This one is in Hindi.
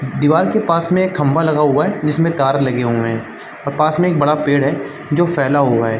दीवार के पास में एक खंभा लगा हुआ है जिसमें तार लगे हुए हैं और पास में एक बड़ा पेड़ है जो फैला हुआ है।